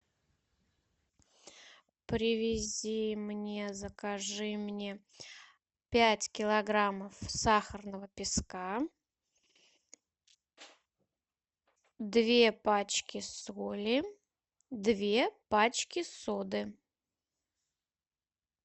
привези мне закажи мне пять килограммов сахарного песка две пачки соли две пачки соды